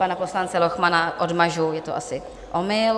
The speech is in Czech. Pana poslance Lochmana odmažu, je to asi omyl.